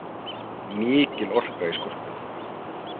Mikil orka í skólpinu